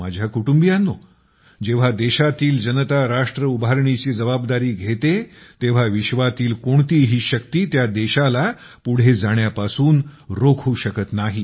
माझ्या कुटुंबियांनो जेव्हा देशातील जनता राष्ट्र उभारणीची जबाबदारी घेते तेव्हा विश्वातील कोणतीही शक्ती त्या देशाला पुढे जाण्यापासून रोखू शकत नाही